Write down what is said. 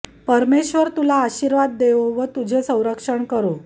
परमेश्वर तुला आशीर्वाद देवो व तुझे संरक्षण करो